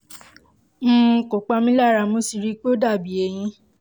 um kò pa mí lára mo sì ríi pé ó dàbí eyín